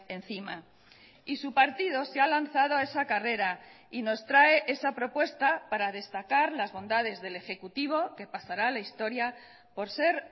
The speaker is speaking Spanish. encima y su partido se ha lanzado a esa carrera y nos trae esa propuesta para destacar las bondades del ejecutivo que pasará a la historia por ser